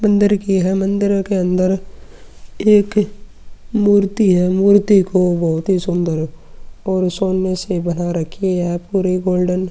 मंदिर की है। मंदिरों के अंदर एक मूर्ति है। मूर्ति को बोहोत सुंदर और सोने से बना रखी और पूरी गोल्डन --